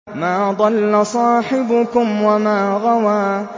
مَا ضَلَّ صَاحِبُكُمْ وَمَا غَوَىٰ